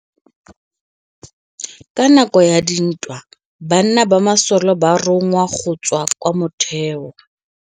Ka nakô ya dintwa banna ba masole ba rongwa go tswa kwa mothêô.